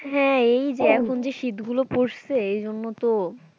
হ্যাঁ এই যে এখন এ যে শীতগুলো পড়সে এইজন্যে তো,